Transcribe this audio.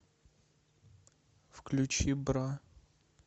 включи бра